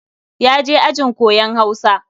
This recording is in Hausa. Ya je ajin koyon Hausa.